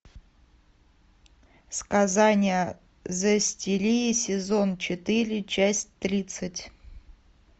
сказания зестирии сезон четыре часть тридцать